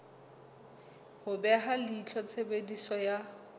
ho beha leihlo tshebediso ya